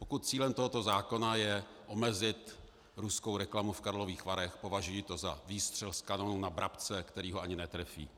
Pokud cílem tohoto zákona je omezit ruskou reklamu v Karlových Varech, považuji to za výstřel z kanonů na vrabce, který ho ani netrefí.